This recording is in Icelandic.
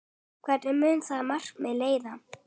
Hvert mun það markmið leiða?